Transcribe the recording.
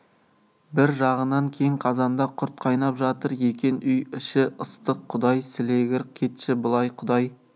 бір жағынан кең қазанда құрт қайнап жатыр екен үй іші ыстық құдай сілегір кетші былай құдай